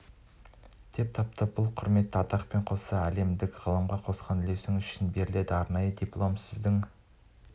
деп тапты бұл құрметті атақпен қоса әлемдік ғылымға қосқан үлесіңіз үшін берілетін арнайы диплом сіздің